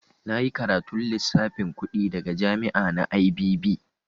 Na yi karatun lissafin kuɗi daga jami'a na IBB.